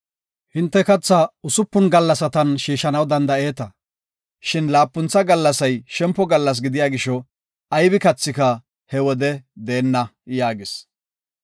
Hinte kathaa usupun gallasatan shiishanaw danda7eeta, shin laapuntha gallasay shempo gallas gidiya gisho aybi kathika he wode deenna” yaagis.